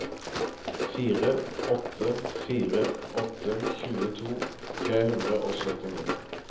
fire åtte fire åtte tjueto tre hundre og syttini